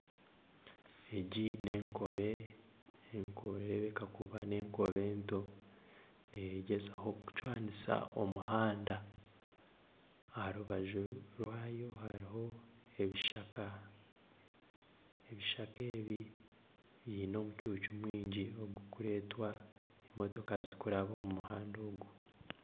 Egi n'enkobe enkobe nereebeka kuba n'enkobe nto. Negyezaho kucwanisa omuhanda. Aha rubaju rwayo hariho ebishaka. Ebishaka ebi biine omucuucu mwingi ogurikureetwa emotoka zirikuraba omu muhanda ogu.